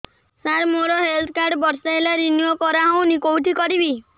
ସାର ମୋର health card ବର୍ଷେ ହେଲା ରିନିଓ କରା ହଉନି କଉଠି କରିବି